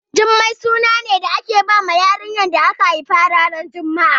Jummai suna ne da ake bawa yarinya da aka haifa ranar juma'a